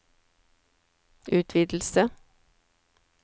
utvidelse